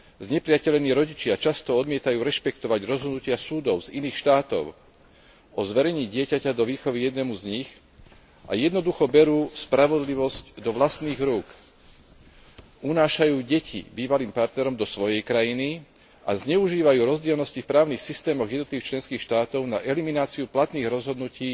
Znepriatelení rodičia často odmietajú rešpektovať rozhodnutia súdov z iných štátov o zverení dieťaťa do výchovy jednému z nich a jednoducho berú spravodlivosť do vlastných rúk unášajú deti bývalým partnerom do svojej krajiny a zneužívajú rozdielnosti v právnych systémoch jednotlivých členských štátov na elimináciu platných rozhodnutí